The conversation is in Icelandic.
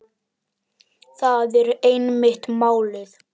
Það er einmitt málið.